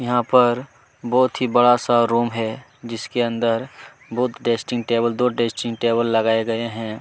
यहाँ पर बहुत ही बड़ा -सा रूम है जिसके अंदर बहुत डेस्टिंग टेबल दो डेस्टिंग टेबल लगाए गए हैं।